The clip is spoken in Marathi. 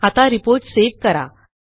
आता रिपोर्ट सेव्ह करा